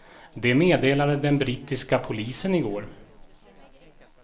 Det meddelade den brittiska polisen i går.